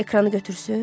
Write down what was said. Ekranı götürsün?